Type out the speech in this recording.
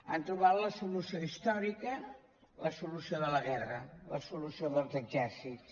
han trobat la solució històrica la solució de la guerra la solució dels exèrcits